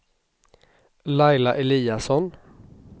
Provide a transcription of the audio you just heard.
Laila Eliasson